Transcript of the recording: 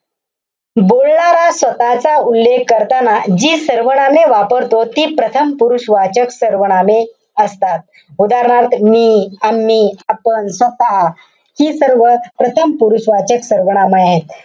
बोलणारा स्वतःचा उल्लेख करताना, जी सर्वनामे वापरतो, ती प्रथम पुरुषवाचक सर्वनामे असतात. उदाहरणार्थ, मी, आम्ही, आपण, स्वतः हि सर्व प्रथम पुरुषवाचक सर्वनामं आहेत.